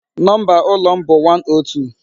Number ụlọ m bụ 102.